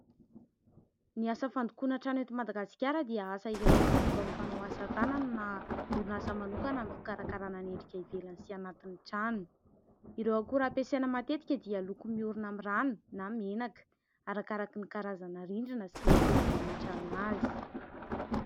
Ny asa fandokoana trano eto Madagasikara dia asa iray, izay ataon'ny mpanao asa tanana na orinasa manokana amin'ny fikarakarana ny endrika ivelany sy anatin'ny trano ; ireo akora ampiasaina matetika dia loko miorina amin'ny rano na menaka, arakaraka ny karazana rindrina sy ny toerana hametrahana azy.